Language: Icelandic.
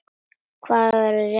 Hann var á réttri leið.